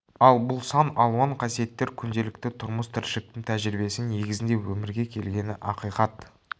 ал бұл сан алуан қасиеттер күнделікті тұрмыс-тіршіліктің тәжірибесі негізінде өмірге келгені ақиқат